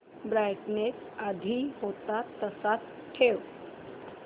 brightness आधी होता तसाच ठेव